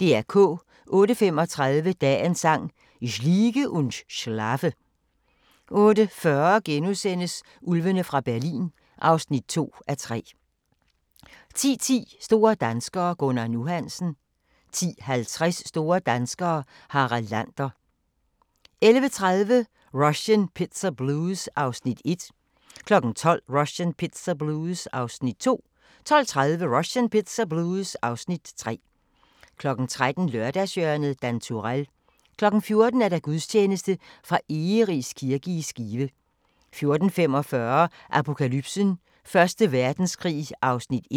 08:35: Dagens Sang: Ich liege und schlafe 08:40: Ulvene fra Berlin (2:3)* 10:10: Store danskere - Gunnar "Nu" Hansen 10:50: Store danskere - Harald Lander 11:30: Russian Pizza Blues (Afs. 1) 12:00: Russian Pizza Blues (Afs. 2) 12:30: Russian Pizza Blues (Afs. 3) 13:00: Lørdagshjørnet - Dan Turèll 14:00: Gudstjeneste fra Egeris kirke i Skive 14:45: Apokalypsen: Første Verdenskrig (1:5)